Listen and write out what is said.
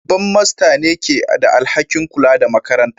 Babban Master ne ke da alhakin kula da makarantar